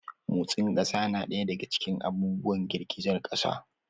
Motsin ƙasa na ɗaya daga cikin abubuwan girgizar ƙasa.